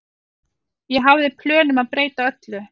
Ég hafði plön um að breyta öllu.